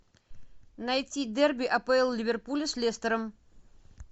найти дерби апл ливерпуля с лестером